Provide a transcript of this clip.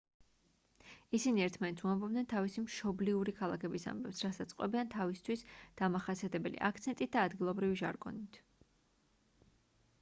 ისინი ერთმანეთს უამბობენ თავისი მშობლიური ქალაქების ამბებს რასაც ყვებიან თავისთვის დამახასიათებელი აქცენტით და ადგილობრივი ჟარგონით